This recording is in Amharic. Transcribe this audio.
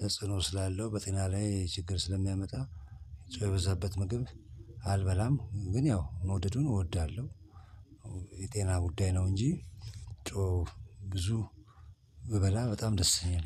ተጽዕኖ ስላለው በጤና ላይ ችግር ስለሚያመጣ ጨው የበዛበት ምግብ አልበላም። ግን ያው መውደዱን እወዳለሁ። የጤና ጉዳይ ነው እንጂ ጨው ብዙ ብበላ በጣም ደስተኛ ነኝ